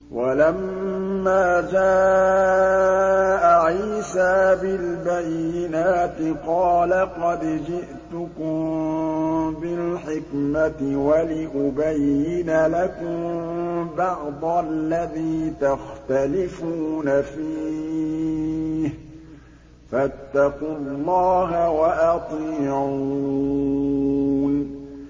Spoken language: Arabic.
وَلَمَّا جَاءَ عِيسَىٰ بِالْبَيِّنَاتِ قَالَ قَدْ جِئْتُكُم بِالْحِكْمَةِ وَلِأُبَيِّنَ لَكُم بَعْضَ الَّذِي تَخْتَلِفُونَ فِيهِ ۖ فَاتَّقُوا اللَّهَ وَأَطِيعُونِ